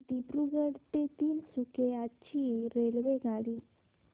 दिब्रुगढ ते तिनसुकिया ची रेल्वेगाडी